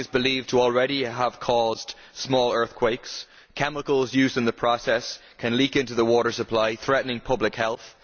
Fracking is believed to have already caused small earthquakes and chemicals used in the process can leak into the water supply, threatening public health.